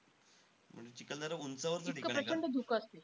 म्हणजे चिखलदरा उंचावरचं ठिकाण आहे का?